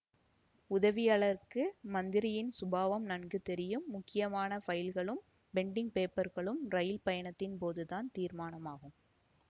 உதவியாளருக்கு மந்திரியின் சுபாவம் நன்கு தெரியும் முக்கியமான ஃபைல்களும் பெண்டிங் பேப்பர்களும் இரயில் பயணத்தின் போது தான் தீர்மானமாகும்